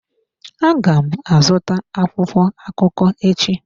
Aga m azụta akwụkwọ akụkọ echi.